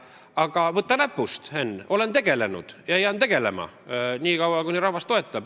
Aga võta näpust, Henn, ma olen nende asjadega tegelenud ja jään tegelema, nii kaua, kuni rahvas mind toetab.